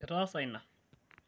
itaasa ina